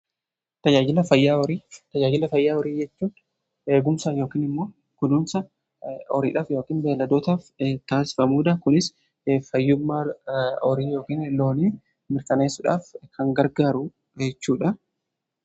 Tajaajilla fayyaa horii jechuun eegumsaa yookin immoo kunuunsa horiidhaaf yookaan beladootaaf taasifamuudha. Kunis fayyummaa horii yookiin looniii mirkaneessudhaaf kan gargaaru jechuudha.